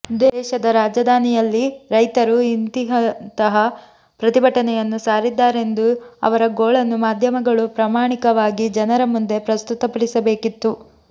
ದೇಶದ ರಾಜಧಾನಿಯಲ್ಲಿ ರೈತರು ಇಂತಿಂತಹ ಪ್ರತಿಭಟನೆಯನ್ನು ಸಾರಿದ್ದಾರೆಂದು ಅವರ ಗೋಳನ್ನು ಮಾಧ್ಯಮ ಗಳು ಪ್ರಾಮಾಣಿಕವಾಗಿ ಜನರ ಮುಂದೆ ಪ್ರಸ್ತುತಪಡಿಸಬೇಕಿತ್ತು